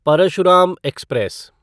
Parshuram express